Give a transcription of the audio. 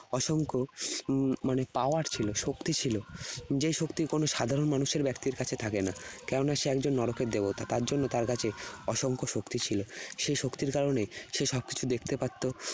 অসংখ্য উম মানে power ছিল, শক্তি ছিল। যে শক্তি কোন সাধারণ মানুষের ব্যক্তির কাছে থাকে না। কেননা সে একজন নরকের দেবতা। তার জন্য তার কাছে অসংখ্য শক্তি ছিল। সেই শক্তির কারণেই সে সবকিছু দেখতে পারত।